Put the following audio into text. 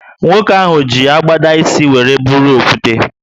Nwoke ahụ ji agbada ísì wéré bụrụ okwute